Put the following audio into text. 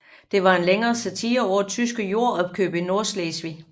Det var en længere satire over tyske jordopkøb i Nordslesvig